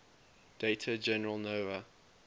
data general nova